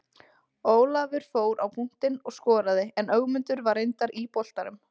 Ólafur fór á punktinn og skoraði en Ögmundur var reyndar í boltanum.